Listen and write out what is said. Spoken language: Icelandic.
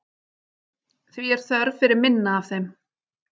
Því er þörf fyrir minna af þeim.